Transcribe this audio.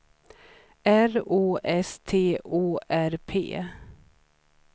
R O S T O R P